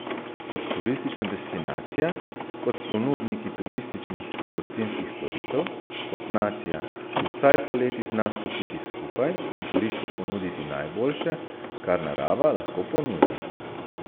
Kot turistična destinacija, kot ponudniki turističnih in gostinskih storitev, kot nacija, ki vsaj poleti zna stopiti skupaj in turistu ponuditi najboljše, kar narava lahko ponudi.